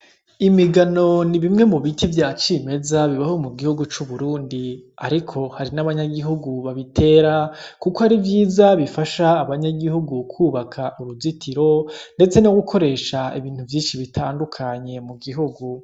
Imigano ni bimwe mu biti vya cimeza bibaho mu gihugu c'Uburundi ariko hari n'abanyagihugu babitera kuko ari vyiza bifasha abanyagihugu kwubaka uruzitiro ndetse no gukoresha ibintu vyinshi bitandukanye mu gihugu.